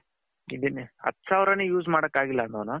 ಹತ್ತು ಸಾವಿರ use ಮಡಕ ಆಗಿಲ್ಲ ಅನೋನು